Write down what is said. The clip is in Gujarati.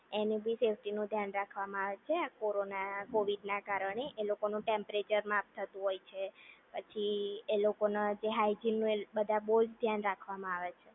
એને ભી સેફ્ટી નું ધ્યાન રાખવામાં આવે છે આ કોરોના કોવિડ ના કારણે એ લોકોનું ટેમ્પરેચર માફ થતું હોય છે પછી એ લોકોના જે હાઇજિન નું એ બધા બહુ ધ્યાન રાખવામાં આવે છે